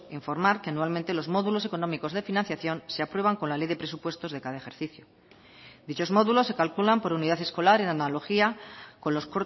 informar que anualmente los módulos económicos de financiación se aprueban con la ley de presupuestos de cada ejercicio dichos módulos se calculan por unidad escolar en analogía con los